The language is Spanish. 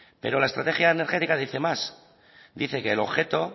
pero la estrategia energética dice más dice que el objeto